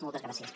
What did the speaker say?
moltes gràcies